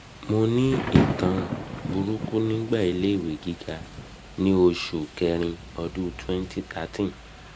mo ni itan buruku nigba ile iwe giga ni osu ni osu kerin odun twenty thirteen